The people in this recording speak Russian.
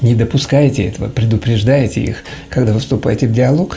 не допускайте этого предупреждайте их когда выступаете в диалог